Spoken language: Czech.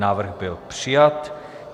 Návrh byl přijat.